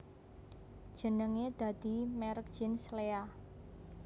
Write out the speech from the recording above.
Jenenge dadi merk jeans Lea